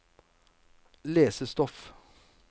lesestoff